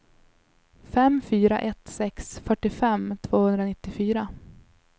fem fyra ett sex fyrtiofem tvåhundranittiofyra